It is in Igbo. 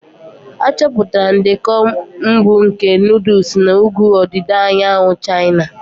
Achọpụtara ndekọ mbụ nke nuduls na ugwu ọdịda anyanwụ China.